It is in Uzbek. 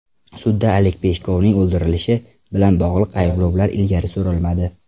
Sudda Oleg Peshkovning o‘ldirilishi bilan bog‘liq ayblovlar ilgari surilmadi.